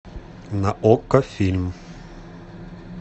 на окко фильм